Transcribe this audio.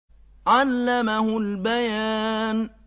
عَلَّمَهُ الْبَيَانَ